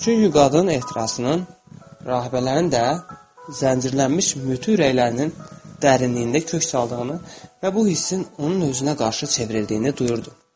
Çünki qadın ehtirasının rahibələrin də zəncirlənmiş mütü ürəklərinin dərinliyində kök saldığını və bu hissin onun özünə qarşı çevrildiyini duyurdu.